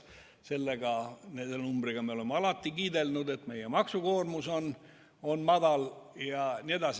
Selle numbriga me oleme alati kiidelnud, et meie maksukoormus on väike.